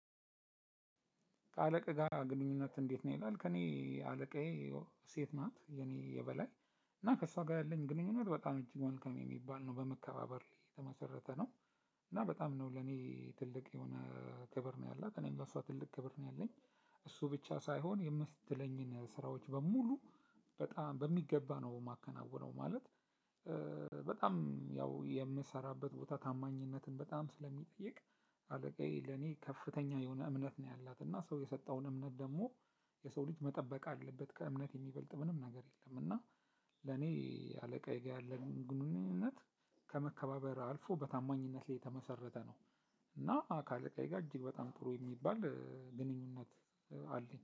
ከአለቃህ ጋር ግንኙነት እንዴት ነው? ይላል ከእኔ አለቃዬ ሴት ናት የኔ የበላይ እና ከእሷ ጋር ያለኝ ግንኙነት በጣም እጅግ መልካም የሚባል ነው በመከባበር ላይ የተመሰረተ ነው። እና በጣም ነው ለኔ ትልቅ የሆነ ክብር ነው ያለው እኔም ለሷ ትልቅ ክብር ነው ያለኝ። እሱ ብቻ ሳይሆን የምትለኝን ስራዎች በሙሉ በጣም በሚገባ ነው ማከናውነው ማለት። በጣም ያው የምሰራበት ቦታ ታማኝነትን በጣም ስለሚጠይቅ አለቃዬ ለኔ ከፍተኛ የሆነ እምነት ነው ያላት እና ሰው የሰጠውን እምነት ደግሞ የሰው ልጅ መጠበቅ አለበት ከእምነት የሚበልጥ ምንም ነገር የለም። እና ለኔ አለቃዬ ጋር ያለን ግንኙነት ከመከባበር አልፎ በታማኝነት ላይ የተመሰረተ ነው። እና ከአለቃዬ ጋር እጅግ በጣም ጥሩ የሚባል ግንኙነት አለኝ